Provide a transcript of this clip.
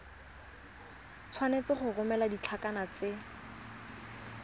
tshwanetse go romela ditlankana tse